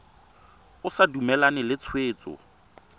o sa dumalane le tshwetso